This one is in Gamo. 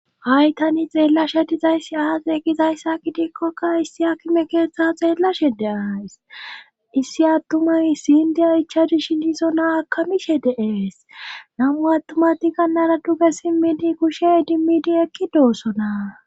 hay tani xeellashe dizayssi aaqe e gizayssakki diikkokka issi akime keeththe xeellashe de7ays issi attumay sindiya ichadishi dizo naa akamishe deees namu attumati gannara duge simmidi kushe dimmidi ekki doossona